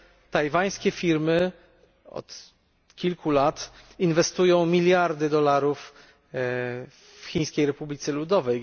Tajwańskie firmy od kilku lat inwestują miliardy dolarów w Chińskiej Republice Ludowej.